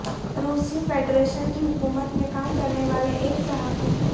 روسی فیڈریشن کی حکومت میں کام کرنے والے ایک صحافی